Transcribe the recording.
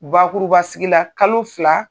Bakuruba sigila, kalo fila